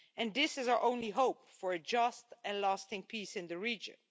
This is our only hope for a just and lasting peace in the region.